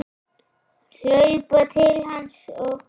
Hlaupa til hans og knúsa.